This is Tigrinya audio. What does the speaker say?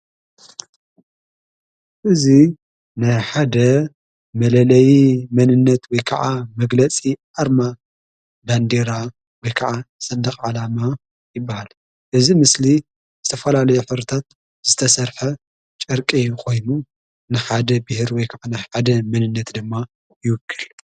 እዙይ ናይ ሓደ መለለይ መንነት ወይ ከዓ መግለጺ ኣርማ ባንዴራ ወ ከዓ ሠንደቕ ዓላማ ይበሃል እዝ ምስሊ ዝተፈላለዩ ፍረታት ዝተሠርሐ ጨርቂ ይኾይኑ ንኻደ ብሔር ወይከ ናይ ሓደ መንነት ድማ ይውክል።